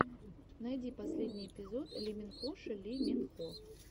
найди последний эпизод лиминхоши ли мин хо